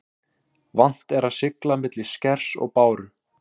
Vant er að sigla milli skers og báru.